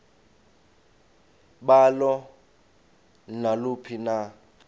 balo naluphi na